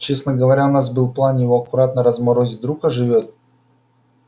честно говоря у нас был план его аккуратно разморозить вдруг оживёт